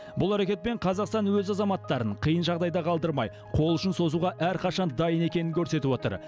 бұл әрекетпен қазақстан өз азаматтарын қиын жағдайда қалдырмай қол ұшын созуға әрқашан дайын екенін көрсетіп отыр